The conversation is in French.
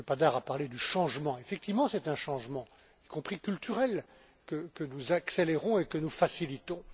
M. Padar a parlé du changement qu'effectivement c'est un changement, y compris culturel, que nous accélérons et que nous facilitons.